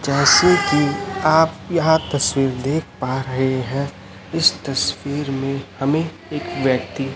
जैसे कि आप यहां तस्वीर देख पा रहे हैं इस तस्वीर में हमें एक व्यक्ति--